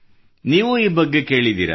ನೀವೂ ಈ ಬಗ್ಗೆ ಕೇಳಿದ್ದೀರಾ